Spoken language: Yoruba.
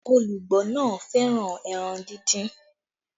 Ologbo náà fẹ́ràn ẹran díndín